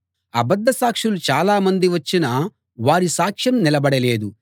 అబద్ధ సాక్షులు చాలామంది వచ్చినా వారి సాక్ష్యం నిలబడలేదు